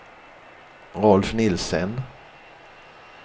Rolf Nielsen